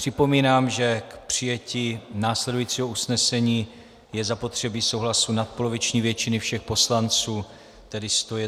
Připomínám, že k přijetí následujícího usnesení je zapotřebí souhlasu nadpoloviční většiny všech poslanců, tedy 101 poslance.